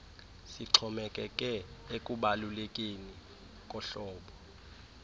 sixhomekeke ekubalulekeni kohlobo